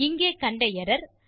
இங்கே கண்ட எர்ரர்